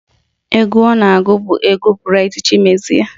Egwu ọ ga-agụ bụ egwu Braịt Chimezie